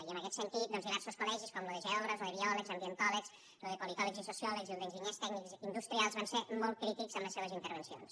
i en aquest sentit doncs diversos col·legis com lo de geògrafs o de biòlegs ambientòlegs lo de politòlegs i sociòlegs i el d’enginyers tècnics industrials van ser molt crítics amb les seues intervencions